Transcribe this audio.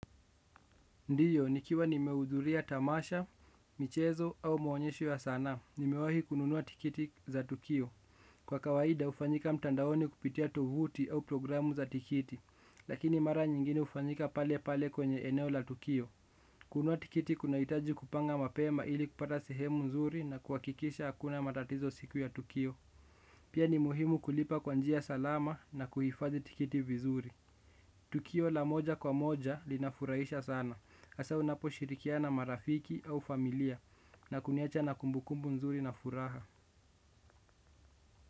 Ndiyo, nikiwa nimeudhuria tamasha, michezo au maonyesho ya sanaa, nimewahi kununua tiketi za tukio. Kwa kawaida hufanyika mtandaoni kupitia tovuti au programu za tiketi, lakini mara nyingine hufanyika pale pale kwenye eneo la tukio. Kununua tiketi kunahitaji kupanga mapema ili kupata sehemu nzuri na kuhakikisha hakuna matatizo siku ya tukio. Pia ni muhimu kulipa kwa njia salama na kuhifadhi tiketi vizuri. Tukio la moja kwa moja linafurahisha sana. Hasa unapo shirikiana na marafiki au familia na kuniacha na kumbukumbu nzuri na furaha.